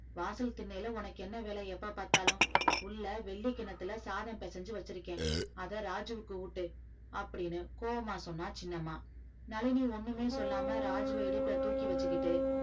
வாசல் திண்ணைல உனக்கு என்ன வேலை எப்ப பார்த்தாலும் உள்ள வெள்ளி கிண்ணத்துல சாதம் பிசைஞ்சு வச்சிருக்கேன் அத ராஜுவுக்கு ஊட்டு அப்படின்னு கோவமா சொன்னா சின்னம்மா நளினி ஒண்ணுமே சொல்லாம ராஜுவ இடுப்புல தூக்கி வச்சுக்கிட்டு